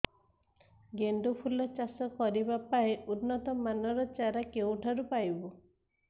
ଗେଣ୍ଡୁ ଫୁଲ ଚାଷ କରିବା ପାଇଁ ଉନ୍ନତ ମାନର ଚାରା କେଉଁଠାରୁ ପାଇବୁ